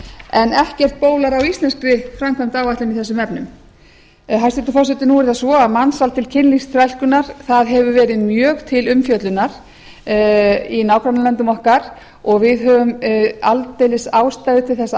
en ekkert bólar á íslenskri framkvæmdaráætlun í þessum efnum hæstvirtur forseti nú er það svo að mansal til kynlífsþrælkunar hefur verið mjög til umfjöllunar i nágrannalöndum okkar og við höfum aldeilis ástæðu til þess að